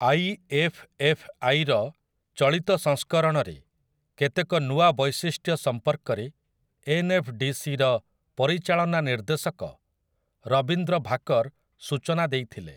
I F F ଆଇ'ର ଚଳିତ ସଂସ୍କରଣରେ କେତେକ ନୂଆ ବୈଶିଷ୍ଟ୍ୟ ସମ୍ପର୍କରେ 'ଏନ୍ ଏଫ୍ ଡି ସି'ର ପରିଚାଳନା ନିର୍ଦ୍ଦେଶକ ରବିନ୍ଦ୍ର ଭାକର୍ ସୂଚନା ଦେଇଥିଲେ ।